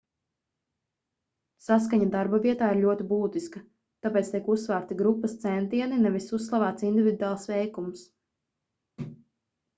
saskaņa darbavietā ir ļoti būtiska tāpēc tiek uzsvērti grupas centieni nevis uzslavēts individuāls veikums